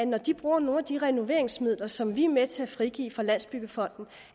når de bruger nogle af de renoveringsmidler som vi er med til at frigive fra landsbyggefonden